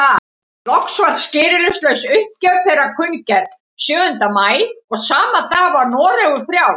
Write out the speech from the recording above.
Loks var skilyrðislaus uppgjöf þeirra kunngerð sjöunda maí og sama dag var Noregur frjáls.